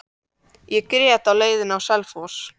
Ég grét á leiðinni á Selfoss.